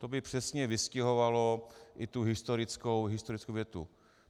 To by přesně vystihovalo i tu historickou větu.